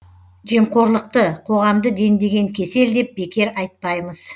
жемқорлықты қоғамды дендеген кесел деп бекер айтпаймыз